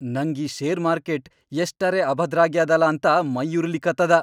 ನಂಗ್ ಈ share market ಎಷ್ಟರೆ ಅಭದ್ರಾಗ್ಯಾದಲಾ ಅಂತ ಮೈಯುರಿಲಿಕತ್ತದ.